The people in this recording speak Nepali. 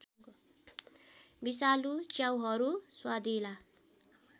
विषालु च्याउहरू स्वादिला